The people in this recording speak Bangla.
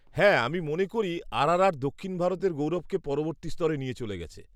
-হ্যাঁ, আমি মনে করি আরআরআর দক্ষিণ ভারতের গৌরবকে পরবর্তী স্তরে নিয়ে চলে গেছে।